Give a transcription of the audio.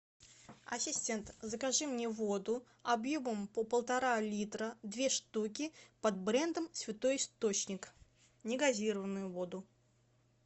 ассистент закажи мне воду объемом по полтора литра две штуки под брендом святой источник негазированную воду